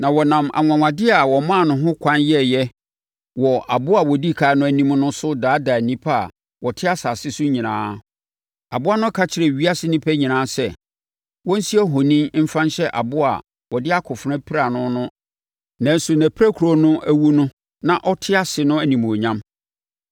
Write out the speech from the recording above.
Na ɔnam anwanwadeɛ a wɔmaa no ho ɛkwan yɛeɛ wɔ aboa a ɔdi ɛkan no anim no so daadaa nnipa a wɔte asase so nyinaa. Aboa no ka kyerɛɛ ewiase nnipa nyinaa sɛ, wɔnsi ohoni mfa nhyɛ aboa a wɔde akofena piraa no nanso nʼapirakuro no awu na ɔte ase no animuonyam.